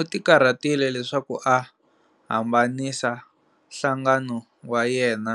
Utikarhatile leswaku a hambanisa nhlangano wa yena